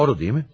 Doğru deyilmi?